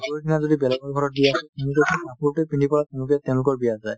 পৰহি দিনা যদি বেলেগৰ ঘৰত বিয়া আছে তেনেহ'লে সেই কাপোৰতোয়ে পিন্ধি পেলাই তেওঁলোকে তেওঁলোকৰ বিয়াত যায়